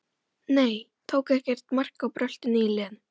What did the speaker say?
Nei, tók ekkert mark á bröltinu í Lenu.